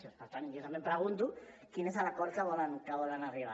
doncs per tant jo també pregunto quin és l’acord a què volen arribar